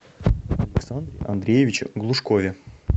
александре андреевиче глушкове